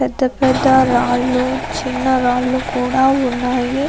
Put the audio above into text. పెద్ద పెద్ద రాళ్లు చిన్న రాళ్ళు కూడా ఉన్నాయి.